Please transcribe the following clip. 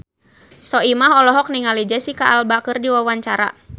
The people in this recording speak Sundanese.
Soimah olohok ningali Jesicca Alba keur diwawancara